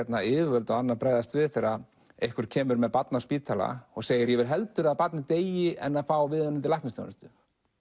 yfirvöld og annað bregðast við þegar einhver kemur með barn á spítala og segir ég vil heldur að barnið deyi en fá viðeigandi læknisþjónustu